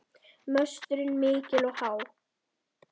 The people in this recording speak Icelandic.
Möstrin mikil og há.